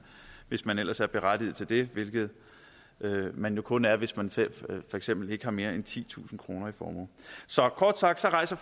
hvis man ellers er berettiget til det hvilket man kun er hvis man for eksempel ikke har mere end titusind kroner i formue så kort sagt rejser